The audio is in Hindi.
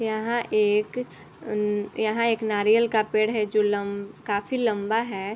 यहाँ एक उम यहाँ एक नारियल का पेड़ है जो लम काफी लम्बा है ।